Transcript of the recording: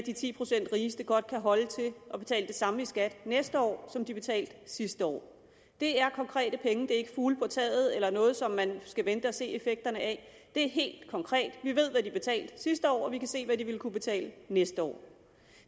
at de ti procent rigeste godt kan holde til at betale det samme i skat næste år som de betalte sidste år det er konkrete penge det er ikke fugle på taget eller noget som man skal vente og se effekterne af det er helt konkret vi ved hvad de betalte sidste år og vi kan se hvad de vil kunne betale næste år